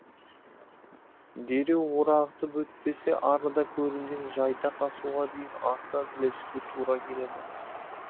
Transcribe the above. дереу орағытып өтпесе арыда көрінген жайдақ асуға дейін артынан ілесуге тура келеді